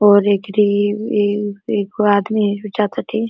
और एकरी इं एगो आदमी भी जा ताटे।